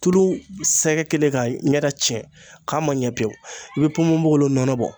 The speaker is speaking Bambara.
Tulu sɛgɛ kɛlen ka ɲɛ da cɛn k'a ma ɲɛ pewu i be ponponpogolon nɔnɔ bɔ